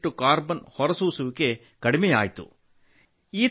40ರಷ್ಟು carbon ಹೊರಸೂಸುವಿಕೆ ಕಡಿಮೆಯಾಯಿತು